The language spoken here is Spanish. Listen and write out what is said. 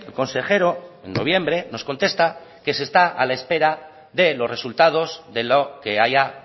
consejero en noviembre nos contesta que se está a la espera de los resultados de lo que haya